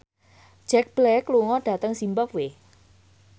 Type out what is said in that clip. Jack Black lunga dhateng zimbabwe